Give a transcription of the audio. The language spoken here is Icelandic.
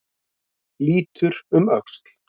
Lítur um öxl.